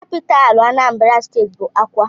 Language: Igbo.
Capitalú Anambra steeti bụ Awka.